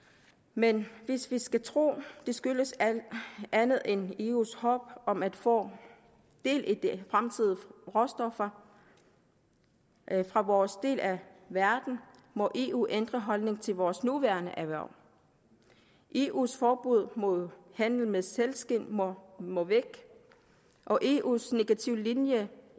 men hvis vi skal tro at det skyldes andet end eus håb om at få del i de fremtidige råstoffer fra vores del af verden må eu ændre holdning til vores nuværende erhverv eus forbud mod handel med sælskind må må væk og eus negative linje